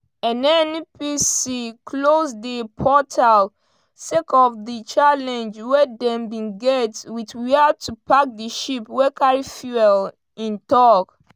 “nnpc close dia portal sake of di challenge wey dem bin get wit wia to park di ship wey carry fuel” im tok.